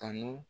Kanu